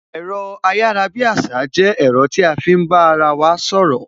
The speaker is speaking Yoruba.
Ẹ̀rọ ayarabiasa jẹ́ ẹ̀rọ tí a fi ń bá ara wa sọ̀rọ̀